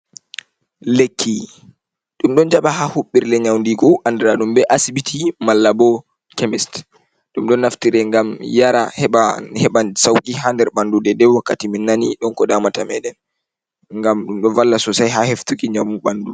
"Lekki" ɗum ɗo jaɓa ha huɓɓirle nyaudigu andiraɗum be asbiti malla bo kemis ɗum ɗo naftire ngam yaara heɓan heɓa sauki ha nder ɓandu dai dai wakkati min nani ko damata meɗen ngam ɗum do valla sosai ha heftuki njamu ɓandu.